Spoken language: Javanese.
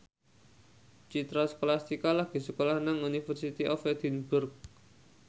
Citra Scholastika lagi sekolah nang University of Edinburgh